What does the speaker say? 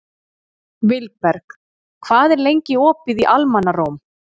Vilberg, hvað er lengi opið í Almannaróm?